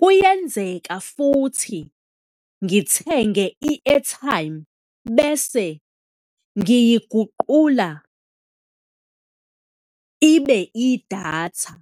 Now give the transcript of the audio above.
kuyenzeka futhi ngithenge i-airtime bese ngiyiguqula ibe idatha.